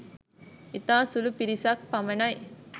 ඉතා සුළු පිරිසක් පමණයි